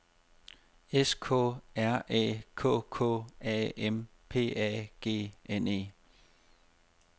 S K R Æ K K A M P A G N E